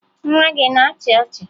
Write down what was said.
Nwa gị a na-achị ọchị?